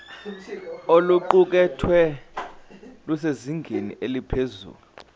oluqukethwe lusezingeni eliphezulu